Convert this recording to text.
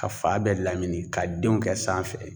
Ka fa bɛɛ lamini ka denw kɛ sanfɛ